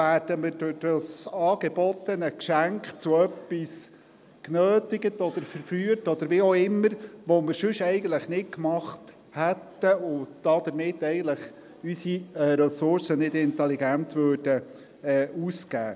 Werden wir durch das angebotene Geschenk zu etwas genötigt, verführt oder wie auch immer, das wir sonst eigentlich nicht gemacht hätten, sodass wir unsere Ressourcen somit eigentlich nicht intelligent ausgeben?